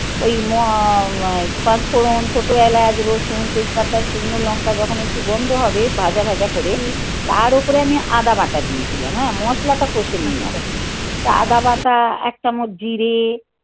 ওই পাঁচফোড়ন ছোট এলাচ. রসুন, তেজপাতা, শুকনো লঙ্কা যখনই গন্ধ হবে, ভাজা ভাজা করে. হুম. তার ওপরে আমি আদা বাটা দিয়েছিলাম. হ্যাঁ. মশলাটা কষে নিয়ে আসলাম. আচ্ছা. তা আদা বাটা, এক চামচ জিরে,